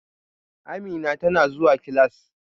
Amina tana zuwa class